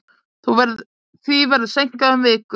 Því verður seinkað um viku.